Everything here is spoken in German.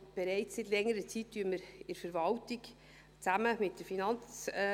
Bereits seit längerer Zeit diskutieren wir in der Verwaltung, zusammen mit der FIN.